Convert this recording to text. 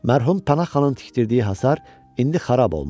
Mərhum Pənah xanın tikdirdiyi hasar indi xarab olmuşdur.